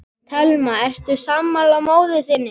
Telma: Ertu sammála móður þinni?